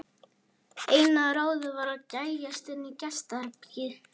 Eina ráðið var að gægjast inn í gestaherbergið.